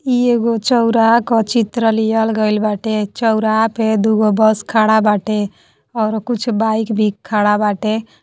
इ एगो चौराहा क चित्र लियल गएल बाटे। चौराहा पे दुहा बस खड़ा बाटे और कुछ बाइक भी खड़ा बाटे।